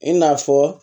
I n'a fɔ